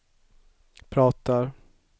pratar